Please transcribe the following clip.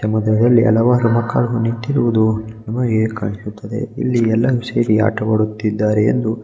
ನಮದೆ ಅಲ್ಲಿ ಹಲವಾರು ಮಕ್ಕಳು ನಿತ್ತಿರುವುದು ನಮಗೆ ಕಾಣಿಸುತ್ತದೆ ಇಲ್ಲಿ ಎಲ್ಲರೂ ಸೇರಿ ಆಟವಾಡುತ್ತಿದ್ದರೆ ಎಂದು--